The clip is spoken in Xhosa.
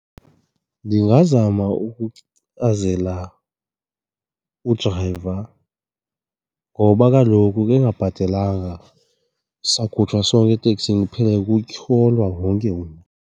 Ndingazama ukuchazela udrayiva ngoba kaloku ka engabhatelanga sawukhutshwa sonke eteksini kuphele kutyholwa wonke umntu.